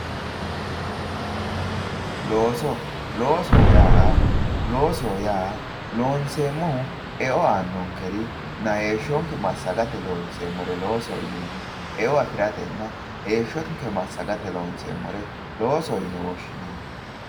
Looso, loosoho yaa loonseemmori eo aanonkerinna heeshsho Massagate loonseemmore loosoho yineemmo, eo afiratenna heeshshonke Massagate loonseemmore loosoho yinne woshshinanni.